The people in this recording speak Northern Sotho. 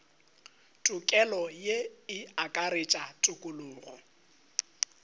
tokelo ye e akaretša tokologo